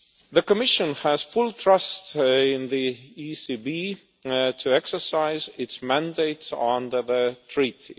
The Commission has full trust in the ECB to exercise its mandates under the Treaty.